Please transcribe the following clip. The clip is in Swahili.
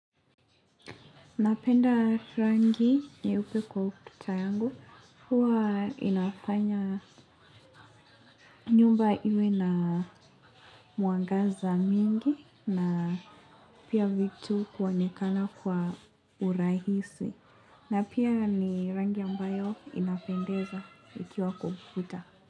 Napenda rangi nyeupe kwa ututa yangu, huwa inafanya nyumba iwe na mwangaza mingi na pia vitu kuonekana kwa urahisi na pia ni rangi ambayo inapendeza ikiwa kwa ukuta.